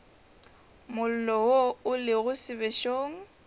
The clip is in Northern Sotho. mollo wo o lego sebešong